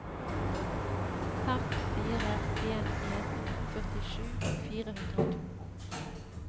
fem fire en en førtisju fire hundre og to